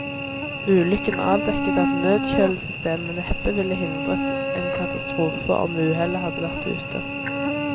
Ulykken avdekket at nødkjølesystemet neppe ville hindret en katastrofe om uhellet hadde vært ute.